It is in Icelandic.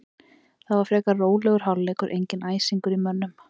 Það var frekar rólegur hálfleikur, enginn æsingur í mönnum.